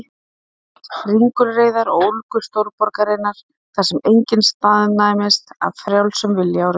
Naut ringulreiðar og ólgu stórborgarinnar, þar sem enginn staðnæmist af frjálsum vilja á rauðu ljósi.